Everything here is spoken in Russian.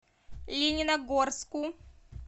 лениногорску